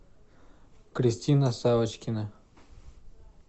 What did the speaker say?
кристина савочкина